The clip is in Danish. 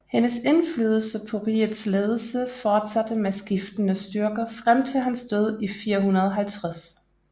Hendes indflydelse på rigets ledelse fortsatte med skiftende styrke frem til hans død i 450